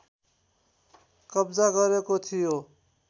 कब्जा गरेको थियो